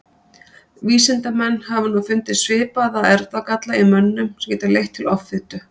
Vísindamenn hafa nú fundið svipaða erfðagalla í mönnum sem geta leitt til offitu.